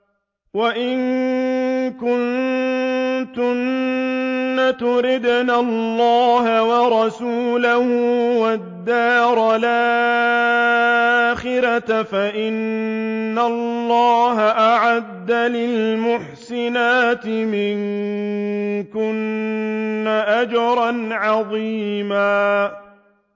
وَإِن كُنتُنَّ تُرِدْنَ اللَّهَ وَرَسُولَهُ وَالدَّارَ الْآخِرَةَ فَإِنَّ اللَّهَ أَعَدَّ لِلْمُحْسِنَاتِ مِنكُنَّ أَجْرًا عَظِيمًا